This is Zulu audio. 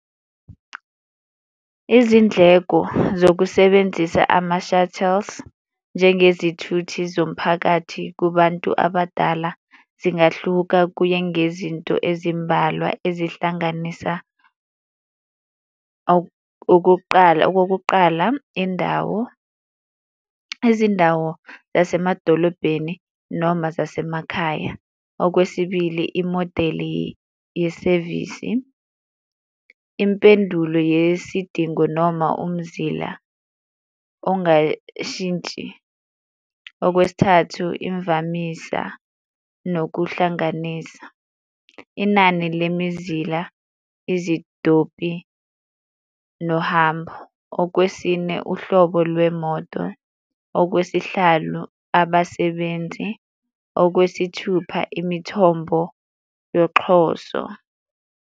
Izindleko zokusebenzisa ama-shuttles njengezithuthi zomphakathi kubantu abadala, zingahluka kuye ngezinto ezimbalwa ezihlanganisa okokuqala okokuqala indawo, izindawo zasemadolobheni noma zasemakhaya. Okwesibili, imodeli yesevisi, impendulo yesidingo noma umzila ongashintshi, okwesithathu imvamisa nokuhlanganisa, inani lemizila, izitobhi nohambo, okwesine uhlobo lwemoto, okwesihlanu abasebenzi, okwesithupha imithombo yoxhoso.